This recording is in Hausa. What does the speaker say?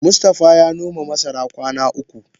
Mustafa ya noma masara kwana uku.